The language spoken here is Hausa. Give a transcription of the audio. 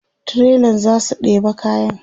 trailan zasu ɗeba kayan